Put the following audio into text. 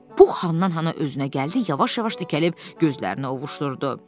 Pux hanından-hana özünə gəldi, yavaş-yavaş dikəlib gözlərini ovuşdurdu.